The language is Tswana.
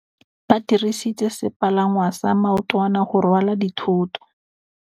Ba dirisitse sepalangwasa maotwana go rwala dithôtô.